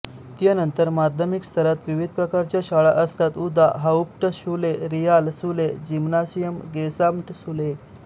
त्यनंतर माध्यमिक स्तरात विविध प्रकारच्या शाळा असतात उदा हाउप्ट शुले रिआल शुले जिमनासियम गेसाम्ट शुले